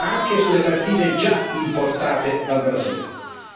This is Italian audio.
ma anche sulle partite già importate dal Brasile